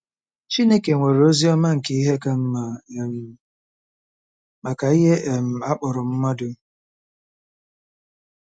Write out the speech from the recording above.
Chineke nwere ozi ọma nke ihe ka mma um maka ihe um a kpọrọ mmadụ.